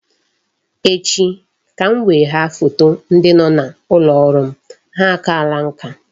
Echi ka m wegha foto ndị dị n'ụlọ ọrụ m, ha akaala nka